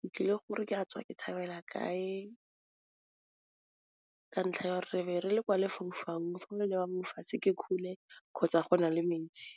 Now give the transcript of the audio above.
ke tlile gore ke a tswa ke tshabela kae, ka ntlha ya o re re be re le kwa lefaufaung mo fatshe ke kgole kgotsa go na le metsi.